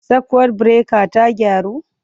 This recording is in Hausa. Sakwut birekar ta gyaru?